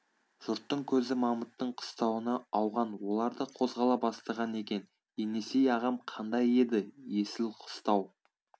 жұрттың көзі мамыттың қыстауына ауған олар да қозғала бастаған екен енесей ағам қандай еді есіл қыстау